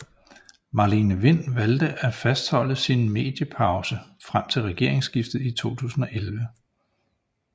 Marlene Wind valgte at fastholde sin mediepause frem til regeringsskiftet i oktober 2011